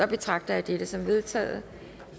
betragter jeg dette som vedtaget